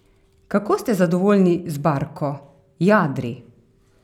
Kako ste zadovoljni z barko, jadri?